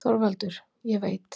ÞORVALDUR: Ég veit.